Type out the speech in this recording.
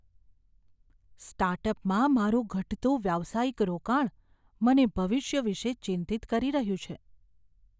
સ્ટાર્ટઅપમાં મારું ઘટતું વ્યાવસાયિક રોકાણ મને ભવિષ્ય વિશે ચિંતિત કરી રહ્યું છે.